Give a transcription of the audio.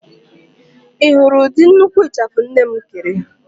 Ị hụrụ ụdị nnukwu ịchafụ nne m kere?